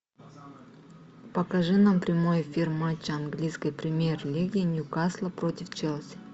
покажи нам прямой эфир матча английской премьер лиги ньюкасла против челси